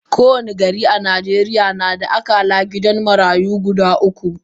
Kowani gari a najeriya nada akalla gidan marayu guda uku